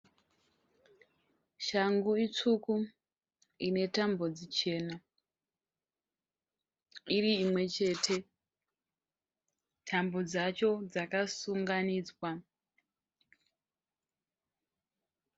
Shangu tsvuku ine tambo chena iri imwe chete. Tambo dzacho dzakasunganidzwa.